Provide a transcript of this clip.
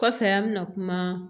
Kɔfɛ an bɛna kuma